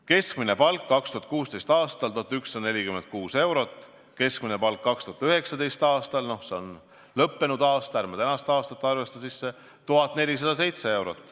Keskmine palk oli 2016. aastal 1146 eurot, keskmine palk 2019. aastal, no see on lõppenud aasta, ärme tänast aastat arvesta sisse, on 1407 eurot.